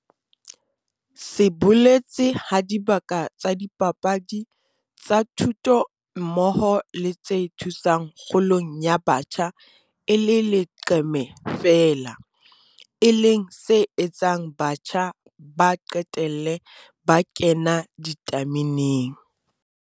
se boletse ha dibaka tsa dipapadi, tsa thuto mmoho le tse thusang kgolong ya batjha e le leqeme feela, e leng se etsang batjha ba qetelle ba 'kena ditameneng'.